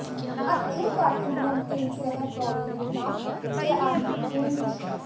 अतः एव काठिन्यं तेन सह प्रौढिमा च आधिक्येन दृश्यते